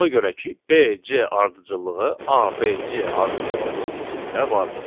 Ona görə ki, BC ardıcıllığı ABC ardıcıllığının içində vardır.